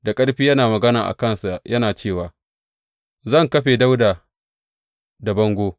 Da ƙarfi yana magana da kansa yana cewa, Zan kafe Dawuda da bango.